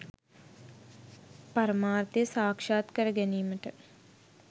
පරමාර්ථය සාක්ෂාත් කරගැනීමට